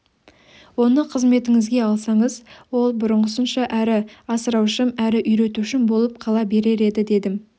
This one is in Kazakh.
оны қызметіңізге алсаңыз ол бұрынғысынша әрі асыраушым әрі үйретушім болып қала берер еді дедім